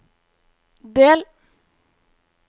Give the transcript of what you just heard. del